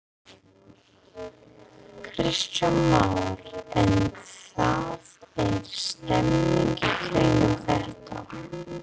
Kristján Már: En það er stemning í kringum þetta?